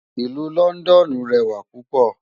Ilù Lòndòn rèwá púpò